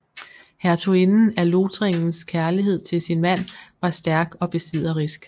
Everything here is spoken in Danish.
Hertuginden af Lothringens kærlighed til sin mand var stærk og besidderisk